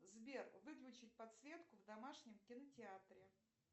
сбер выключить подсветку в домашнем кинотеатре